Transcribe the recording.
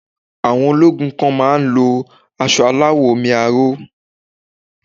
Àwọn ológun kan má á ń lo asọ aláwọ̀ omi aró